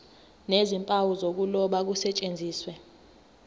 nezimpawu zokuloba kusetshenziswe